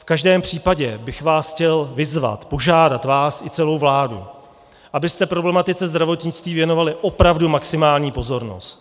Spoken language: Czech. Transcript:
V každém případě bych vás chtěl vyzvat, požádat vás i celou vládu, abyste problematice zdravotnictví věnovali opravdu maximální pozornost.